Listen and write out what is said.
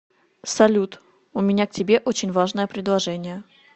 салют у меня к тебе очень важное предложение